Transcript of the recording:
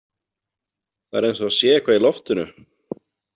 Það er eins og það sé eitthvað í loftinu.